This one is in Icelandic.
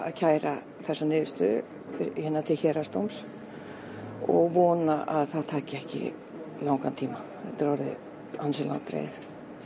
kæra þessa niðurstöðu til Héraðsdóms og vona að það taki ekki langan tíma þetta er orðið ansi langdregið